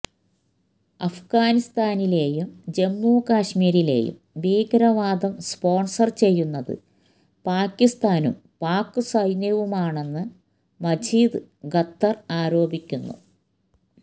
അഫ്ഗാനിസ്താനിലേയും ജമ്മു കശ്മീരിലെയും ഭീകരവാദം സ്പോൺസർ ചെയ്യുന്നത് പാകിസ്താനും പാക് സൈന്യവുമാണെന്നും മജീദ് ഖത്തർ ആരോപിക്കുന്നുു